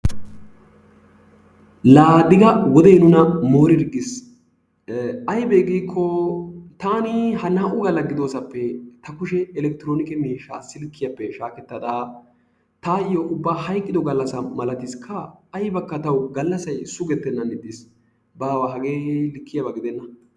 Laa Diga wodee nuna moorirggis. Ayibee giikko taani ha naa"u galla gidoosappe ta kushee elekktroonike miishshaa silkkiyappe shaakettada taayyo mule hayiqqido gallassaa maltiskkaa! Ayibakka tawu gallassay sugettennan ixxis. Baawa hagee likkiyaba gidenna.